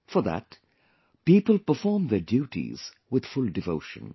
For that, people perform their duties with full devotion